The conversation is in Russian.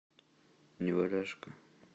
неваляшка